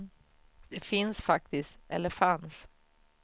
Det finns faktiskt, eller fanns.